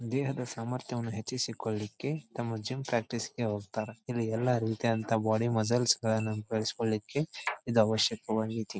ದೇಹದ ಸಾಮ್ರತ್ಯವನ್ನು ಹೆಚ್ಚಿಸಿಕೊಳ್ಳಿಕ್ಕೆ ತಮ್ಮ ಜಿಮ್ ಪ್ರಾಕ್ಟೀಸ್ ಗೆ ಹೋಗತ್ತಾರೆ ಇಲ್ಲಿ ಎಲ್ಲಾ ರೀತಿ ಆದಂತ ಬಾಡಿ ಮಸಲ್ಸ್ ಗಳನ್ನ ಕಲಿಸ್ಕೊಳ್ಳಿಕ್ಕೆ ಇದು ಅವಶ್ಯಕವಾಗಿತಿ.